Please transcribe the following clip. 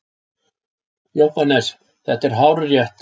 JÓHANNES: Þetta er hárrétt!